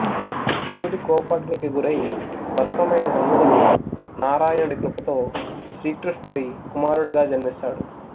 శివుడి కోపాగ్నికి గురై భస్మమైన మన్మధుడు నారాయణుడి కృపతో శ్రీ కృష్ణుడి కుమారుడిగా జన్మిస్తాడు